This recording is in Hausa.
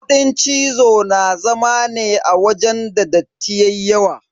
Kuɗin cizo na zama ne wajen da datti yayi yawa.